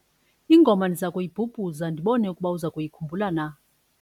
ingoma ndiza kuyibhubhuza ndibone ukuba uza kuyikhumbula na